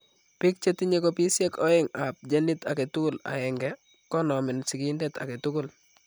Biik chetinye kopisiek oeng' ab genit agetugul aeng'e konomeen sikindet agetugul